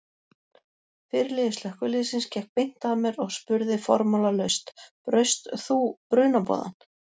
Fyrirliði slökkviliðsins gekk beint að mér og spurði formálalaust: Braust þú brunaboðann?